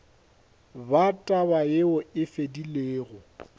ba taba yeo e fedilego